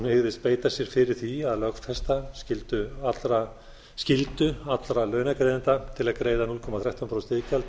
hygðist beita sér fyrir því að lögfesta skyldu allra launagreiðenda til að greiða núll komma þrettán prósent iðgjald af heildarlaunum